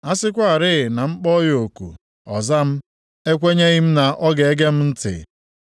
A sịkwarị na m kpọọ ya oku, ọ za m, ekwenyeghị m na ọ ga-ege m ntị.